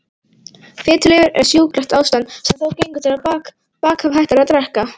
Fitulifur er sjúklegt ástand sem þó gengur til baka ef hætt er að drekka.